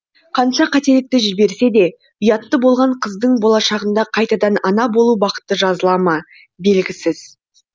қанша қателікті жіберсе де ұятты болған қыздың болашағында қайтадан ана болу бақыты жазыла ма белгісіз